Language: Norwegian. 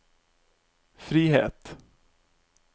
frihet